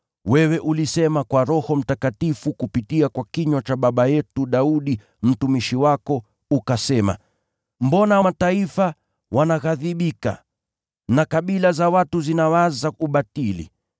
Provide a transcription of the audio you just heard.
Wewe ulisema kwa Roho Mtakatifu kupitia kwa kinywa cha baba yetu Daudi, mtumishi wako, ukasema: “ ‘Mbona mataifa wanaghadhibika, na kabila za watu zinawaza ubatili?